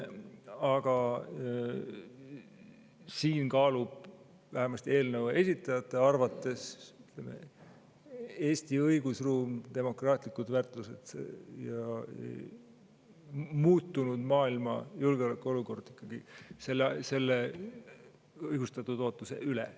Aga siin kaaluvad vähemasti eelnõu esitajate arvates Eesti õigusruum, demokraatlikud väärtused ja muutunud maailma julgeolekuolukord selle õigustatud ootuse üle.